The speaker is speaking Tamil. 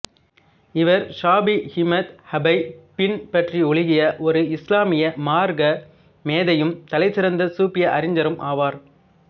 இவர் ஷாபிஈ மத்ஹபைப் பின்பற்றியொழுகிய ஒரு இசுலாமிய மார்க்க மேதையும் தலைசிறந்த சூபிய அறிஞரும் ஆவார்